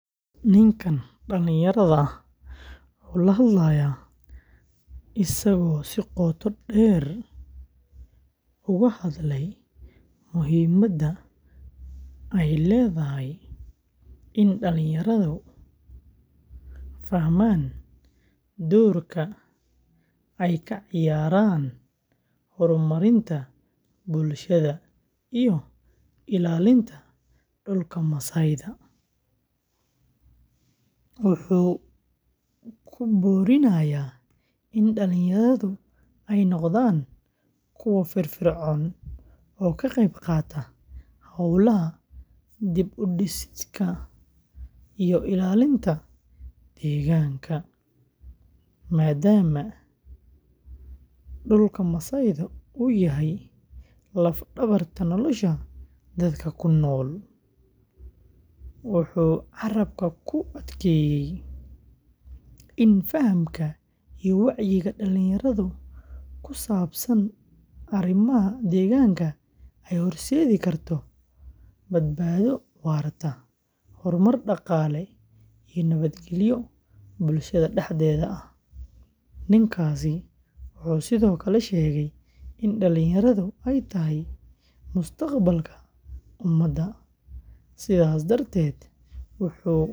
Ninkan dhalinyarada wuu la hadlayaa isagoo si qoto dheer uga hadlay muhiimadda ay leedahay in dhalinyaradu fahmaan doorka ay ka ciyaarayaan horumarinta bulshada iyo ilaalinta dhulka masaayda. Wuxuu ku boorinayaa in dhalinyaradu ay noqdaan kuwo firfircoon oo ka qayb qaata hawlaha dib-u-dhiska iyo ilaalinta deegaanka, maadaama dhulka masaayda uu yahay laf-dhabarta nolosha dadka ku nool. Wuxuu carrabka ku adkeeyay in fahamka iyo wacyiga dhalinyarada ku saabsan arrimaha deegaanka ay horseedi karto badbaado waarta, horumar dhaqaale, iyo nabadgelyo bulshada dhexdeeda ah. Ninkaasi wuxuu sidoo kale sheegay in dhalinyaradu ay tahay mustaqbalka ummadda, sidaas darteed.